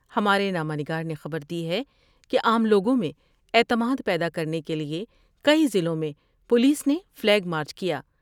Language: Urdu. ہمارے نامہ نگار نے خبر دی ہے کہ عام لوگوں میں اعتماد پیدا کرنے کے لئے کئی ضلعوں میں پولیس نے فلیگ مارچ کیا ۔